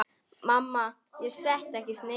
Mamma: Ég setti ekkert niður!